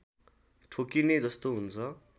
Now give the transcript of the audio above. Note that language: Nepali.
ठोकिने जस्तो हुन्छ